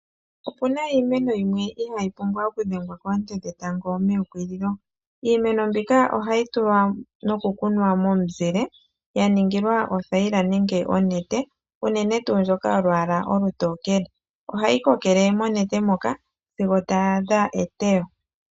Opena iimeno yimwe ihayi pumbwa okudhengwa koonte dhetango meukililo. Iimeno mbika ohayi tulwa nokukunwa momuzile yaningilwa othayila nenge onete uunene tuu yolwaala olutokele ohayi kokele monete moka sigo tayi adha eteyo.